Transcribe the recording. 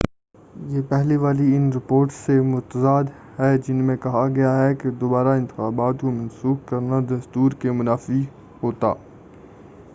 یہ پہلے والی ان رپورٹس سے متضاد ہے جن میں کہا گیا تھا کہ دوبارہ انتخابات کو منسوخ کرنا دستور کے منافی ہوتا